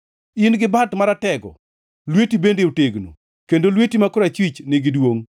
In-gi bat maratego, lweti bende otegno, kendo lweti ma korachwich nigi duongʼ.